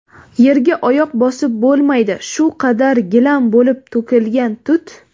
yerga oyoq bosib bo‘lmaydi shu qadar gilam bo‘lib to‘kilgan tut.